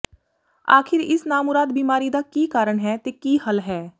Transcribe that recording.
ਆਖਿਰ ਇਸ ਨਾਮੁਰਾਦ ਬਿਮਾਰੀ ਦਾ ਕੀ ਕਾਰਨ ਹੈ ਤੇ ਕੀ ਹੱਲ ਹੈ